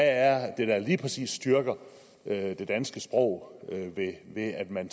er det der lige præcis styrker det danske sprog ved at man